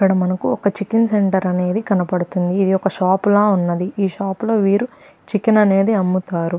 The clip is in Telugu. ఇక్కడ మనకు ఒక చికెన్ సెంటర్ అనేది కనబడుతుంది. ఇది ఒక షాప్ లా ఉంది. ఈ షాప్ లో వీరు చికెన్ అనేది అమ్ముతారు.